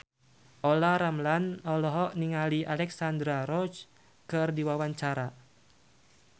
Olla Ramlan olohok ningali Alexandra Roach keur diwawancara